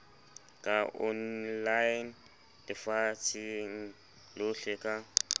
ka online lefatsheng lohle ka